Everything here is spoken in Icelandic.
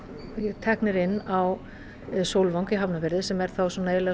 teknir inn á Sólvang í Hafnarfirði sem er þá biðrými